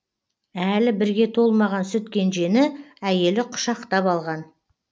әлі бірге де толмаған сүт кенжені әйелі құшақтап алған